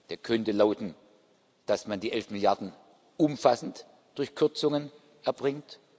Der könnte lauten, dass man die elf Milliarden umfassend durch Kürzungen erbringt.